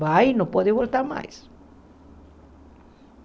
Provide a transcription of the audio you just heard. Vai e não pode voltar mais.